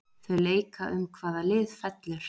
Þau leika um hvaða lið fellur.